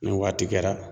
Ni waati kɛra